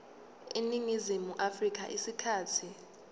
eningizimu afrika isikhathi